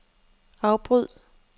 afbryd